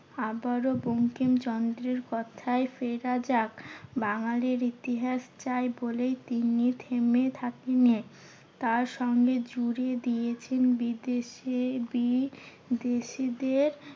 আবারও বঙ্কিম চন্দ্রের কথায় ফেরা যাক। বাঙালির ইতিহাস চাই বলে তিনি থেমে থাকেননি। তার সঙ্গে জুড়ে দিয়েছেন বিদেশি বিদেশিদের